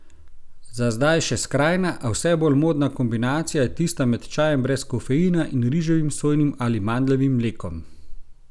Za zdaj še skrajna, a vse bolj modna kombinacija je tista med čajem brez kofeina in riževim, sojinim ali mandljevim mlekom.